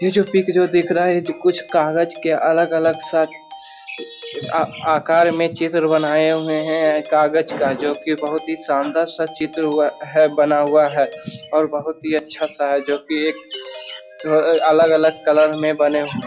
ये जो पिक जो दिख रहा है ये जो कुछ कागज के अलग-अलग सा आ आकार में चित्र बनाये हुए हैं । कागज का जो की बहुत ही शानदार सा चित्र हुआ है बना हुआ है और बहुत ही अच्छा सा है जो कि एक अ अलग-अलग कलर में बने हु --